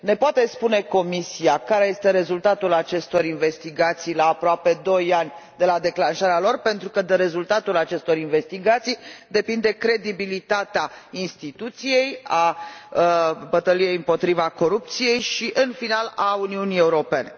Ne poate spune Comisia care este rezultatul acestor investigații la aproape doi ani de la declanșarea lor, pentru că de rezultatul acestor investigații depinde credibilitatea instituției, a bătăliei împotriva corupției și, în final, a Uniunii Europene?